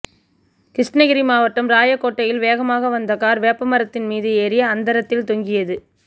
கிருஷ்ணகிரி மாவட்டம் ராயக்கோட்டையில் வேகமாக வந்த கார் வேப்பமரத்தின் மீது ஏறி அந்தரத்தில் தொங்கியது